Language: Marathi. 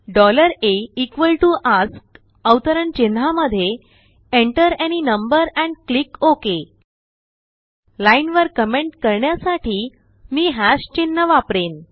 aaskअवतरण चिन्हामध्येenter any number and click okay लाईनवर कमेंट करण्यासाठीमीhashचिन्ह वापरेन